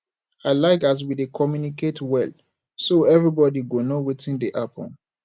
i like as we dey communicate well so everybodi go know wetin dey happen